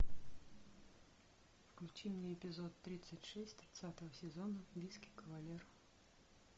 включи мне эпизод тридцать шесть тридцатого сезона виски кавалер